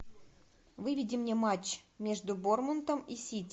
выведи мне матч между борнмутом и сити